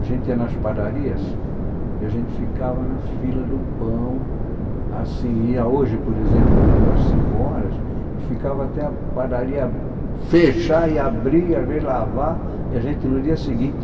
A gente ia nas padarias e a gente ficava na fila do pão, assim, ia hoje, por exemplo, já para as cinco horas, e ficava até a padaria fechar e abrir, às vezes lavar, e a gente no dia seguinte...